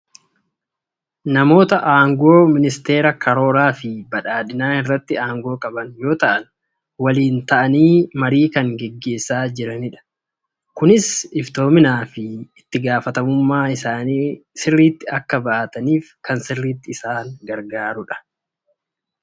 Namoota aangoo ministeera Karooraa fi badhaadhina irratti aangoo qaban yoo ta'an, waliin taa'anii marii kan gaggeessaa jiranidha. Kunis iftoominaa fi itti gaafatamummaa isaanii sirriitti akka ba'ataniif kan sirriitti isaan gargaarudha.